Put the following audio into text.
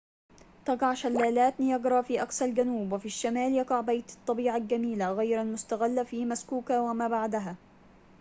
تقع شلالات نياجرا في أقصى الجنوب وفي الشمال يقع بيت الطبيعة الجميلة غير المُستغلة في مسكوكا وما بعدها